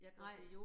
Nej